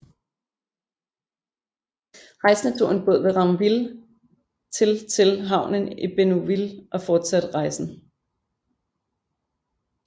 Rejsende tog en båd ved Ranville til til havnen i Bénouville og fortsatte rejsen